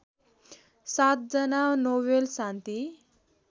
सातजना नोबेल शान्ति